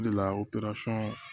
O de la o